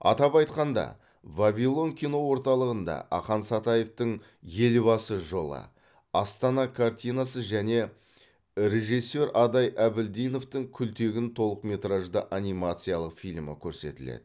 атап айтқанда вавилон кино орталығында ақан сатаевтың елбасы жолы астана картинасы және режиссер адай әбілдиновтің күлтегін толықметражды анимациялық фильмі көрсетіледі